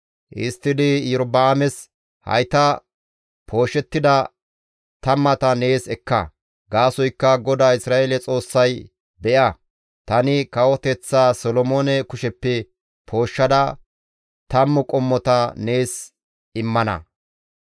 Histtidi Iyorba7aames, «Hayta pooshettida tammata nees ekka. Gaasoykka GODAA Isra7eele Xoossay, ‹Be7a, tani kawoteththaa Solomoone kusheppe pooshshada tammu qommota nees immana.